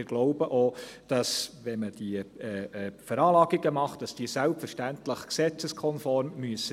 Wir glauben auch, dass diese Veranlagungen, wenn man sie macht, selbstverständlich gesetzeskonform sein müssen.